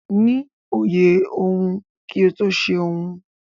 Ni òye ohun kí o tó ṣe ohun.